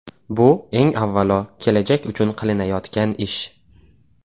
Bu eng avvalo kelajak uchun qilinayotgan ish.